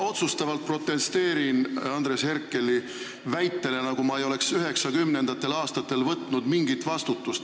Ma protesteerin otsustavalt Andres Herkeli väite vastu, nagu ma ei oleks 1990. aastatel mingit vastutust võtnud.